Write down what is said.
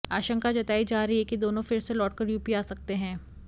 आशंका जताई जा रही है कि दोनों फिर से लौटकर यूपी आ सकते हैं